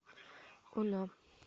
она